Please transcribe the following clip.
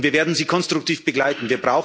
dann kommen sollen. Und wir werden Sie